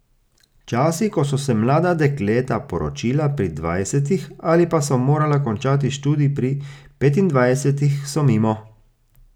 Časi, ko so se mlada dekleta poročila pri dvajsetih ali pa so morala končati študij pri petindvajsetih, so mimo.